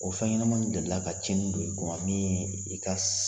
O fɛnɲɛnamanu deli ka cɛnni don e kun min ye i ka